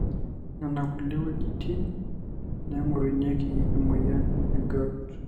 nona kulie weujitin naigorunyieki emoyian e grout